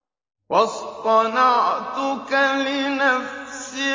وَاصْطَنَعْتُكَ لِنَفْسِي